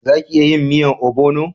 Za ki iya yin miyan obono?